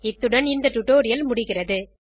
இத்துடன் இந்த டுடோரியல் முடிகிறது